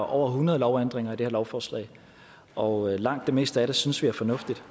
over hundrede lovændringer i det her lovforslag og langt det meste af det synes vi er fornuftigt